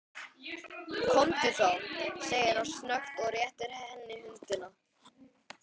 Komdu þá, segir hann snöggt og réttir henni höndina.